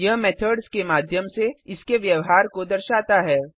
यह मेथड्स के माध्यम से इसके व्यवहार को दर्शाता है